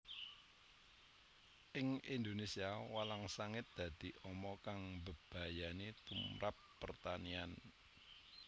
Ing Indonésia walang sangit dadi ama kang mbebayani tumprap pertanian